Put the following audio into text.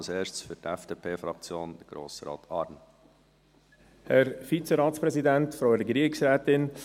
Als Erstes spricht Grossrat Arn für die FDP-Fraktion.